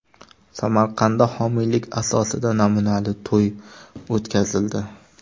Samarqandda homiylik asosida namunali to‘y o‘tkazildi.